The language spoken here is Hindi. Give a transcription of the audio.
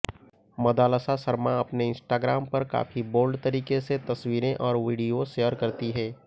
मदालसा शर्मा अपने इंस्टाग्राम पर काफी बोल्ड तरीके से तस्वीरें और वीडियो शेयर करती हैं